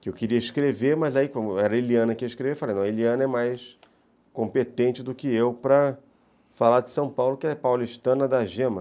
que eu queria escrever, mas era a Eliana que ia escrever, e eu falei, Eliana é mais competente do que eu para falar de São Paulo, que é paulistana da gema.